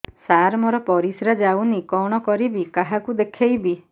ସାର ମୋର ପରିସ୍ରା ଯାଉନି କଣ କରିବି କାହାକୁ ଦେଖେଇବି